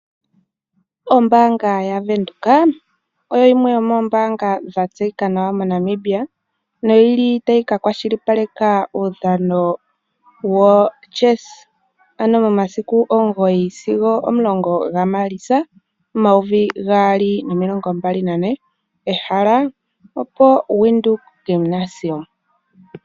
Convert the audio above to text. Ombanga yaVenduka oyo yimwe yomoombanga dha tseyika nawa moNamibia no yili tayi ka kwashilipaleka uudhano woChess momasiku omugoyi sigo omulongo gaMalitsa omayovi gaali nomilongo mbali nane, ehala opo Windhoek Gymnasium.